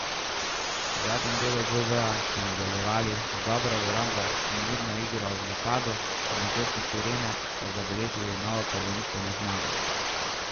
V zadnjem delu dvoboja so nadaljevali z dobro obrambo in mirno igro v napadu ob zvoku sirene pa zabeležili novo prvenstveno zmago.